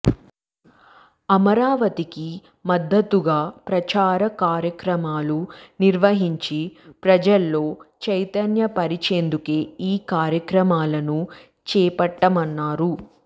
అమరావతికి మద్దతుగా ప్రచార కార్యక్రమాలు నిర్వహించి ప్రజల్లో చైతన్య పరిచేందుకే ఈ కార్యక్రమాలను చేపట్టామన్నారు